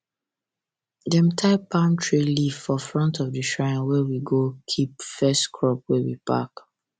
dem tie palm tree leaf for front of the shrine where we go keep first crop wey we pack